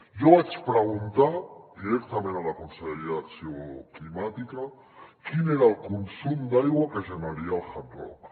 jo vaig preguntar directament a la conselleria d’acció climàtica quin era el consum d’aigua que generaria el hard rock